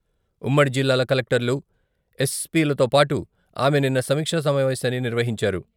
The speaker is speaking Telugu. ఉమ్మడి జిల్లాల కలెక్టర్లు, ఎస్పీలతో పాటు ఆమె నిన్న సమీక్షా సమావేశాన్ని నిర్వహించారు.